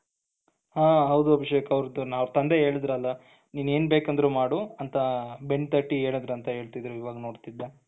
ಹ ಹೌದು ಅಭಿಷೇಕ್ ಅವರ ತಂದೆ ಹೇಳಿದ್ರಲ್ಲ ನೀನ್ ಏನ್ ಬೇಕಾದ್ರೂ ಮಾಡು ಅಂತ ಬೆನ್ ತಟ್ಟಿ ಹೇಳಿದ್ರಂತೆ ಹೇಳ್ತಿದ್ರು ಇವಾಗ ನೋಡಿದೆ.